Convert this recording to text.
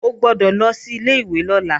O gbọ́dọ̀ lọ sí ilé-ìwé lọ́la!